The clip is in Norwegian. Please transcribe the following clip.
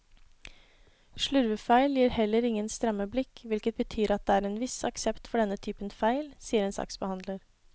Slurvefeil gir heller ingen stramme blikk, hvilket betyr at det er en viss aksept for denne typen feil, sier en saksbehandler.